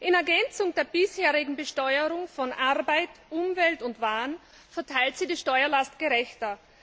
In Ergänzung zur bisherigen Besteuerung von Arbeit, Umwelt und Waren verteilt sie die Steuerlast gerechter.